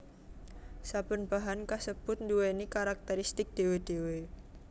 Saben bahan kasebut nduwèni karakteristik dhéwé dhéwé